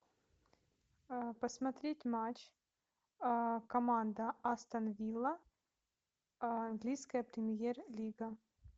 посмотреть матч команда астон вилла английская премьер лига